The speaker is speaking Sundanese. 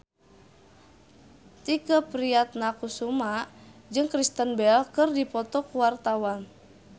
Tike Priatnakusuma jeung Kristen Bell keur dipoto ku wartawan